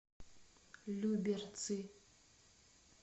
люберцы